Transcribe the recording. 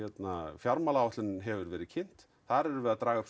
fjármálaáætlunin hefur verið kynnt þar erum við að draga upp